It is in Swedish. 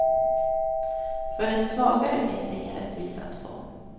För den svagare finns det ingen rättvisa att få.